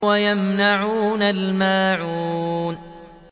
وَيَمْنَعُونَ الْمَاعُونَ